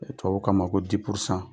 Ni Tubabu k'a ma ko